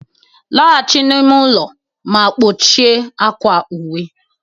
laghachi n'ime ụlọ ma kpọchie akwa uwe